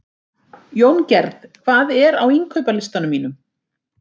Jóngerð, hvað er á innkaupalistanum mínum?